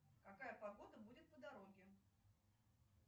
какая погода будет по дороге